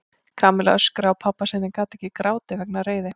Kamilla öskraði á pabba sinn en gat ekki grátið vegna reiði.